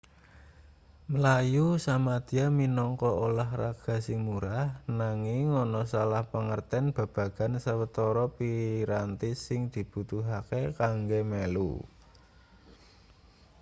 mlayu samadya minangka ulahraga sing murah nanging ana salah pangerten babagan sawetara piranti sing dibutuhake kanggo melu